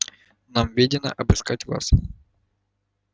нам ведено обыскать вас